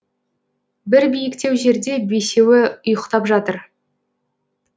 бір биіктеу жерде бесеуі ұйықтап жатыр